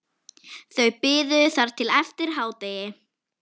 Þau biðu þar til eftir hádegi.